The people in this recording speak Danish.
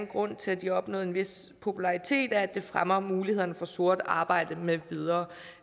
grunden til at de har opnået en vis popularitet er at det fremmer mulighederne for sort arbejde med videre